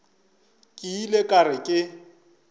ke ile ka re ke